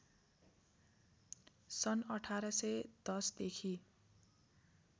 सन् १८१० देखि